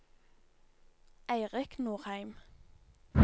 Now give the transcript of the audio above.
Eirik Nordheim